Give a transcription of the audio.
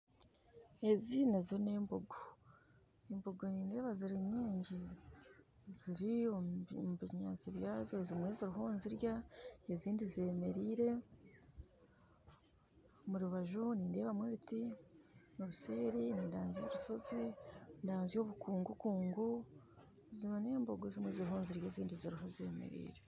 Ezi nazo embogo embogo nindeeba ziri nyingi ziri omu binyaasi byazo ezimwe ziriyo nizirya ezindi zemereire omu rubaju nindeebamu ebiti obuseeri ndanzya orushozi ndanzya obukungukungu buzima n'embogo ezimwe ziriyo nizirya n'ezindi ziriyo zemereire